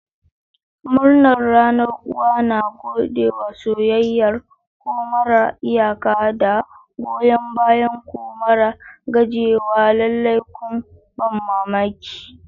Murnar Ranar Uwa! Na gode da soyayyar ku marar iyaka da goyon bayanku mara gajiyawa. Lallai kun ban mamaki.